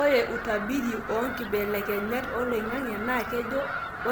Ore utabiri oonkibelekenyat oloingange naa kejo